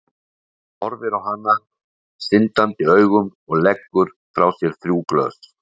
Hann horfir á hana syndandi augum og leggur frá sér þrjú glös.